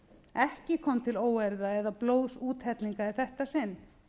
ekki kom til óeirða eða blóðsúthellinga í þetta sinn